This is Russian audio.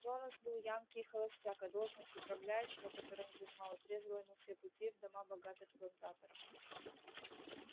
джонас был янки и холостяк а должность управляющего которую он занимал отрезала ему все пути в дома богатых плантаторов